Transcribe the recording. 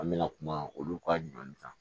An bɛna kuma olu ka ɲɔn kan